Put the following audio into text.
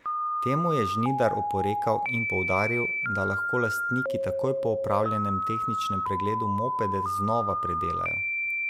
Temu je Žnidar oporekal in poudaril, da lahko lastniki takoj po opravljenem tehničnem pregledu mopede znova predelajo.